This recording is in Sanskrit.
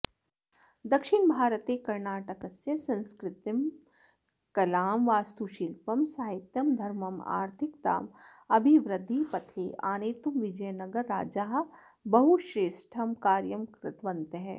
दक्षिणभारते कर्णाटकस्य संस्कृतिं कलां वास्तुशिल्पं साहित्यं धर्मम् आर्थिकताम् अभिवृध्दिपथे आनेतुं विजयनगरराजाः बहुश्रेष्ठं कार्यं कृतवन्तः